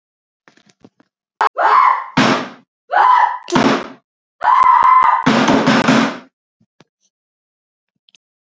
Kamilla var undarlega óörugg í fyrstu kennslustundinni næsta dag.